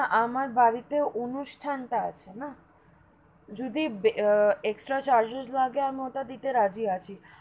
আমার বাড়ি তে অনুষ্ঠান তা আছে না যদি আহ extra charges লাগে আমি ওটা দিতে রাজি আছি.